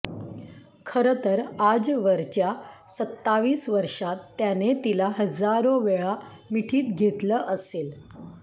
खरंतर आजवरच्या सत्तावीस वर्षांत त्याने तिला हजारो वेळा मिठीत घेतलं असेल